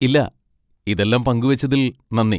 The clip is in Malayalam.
ഇല്ല, ഇതെല്ലം പങ്കുവെച്ചതിൽ നന്ദി.